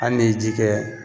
Hali ni ye ji kɛ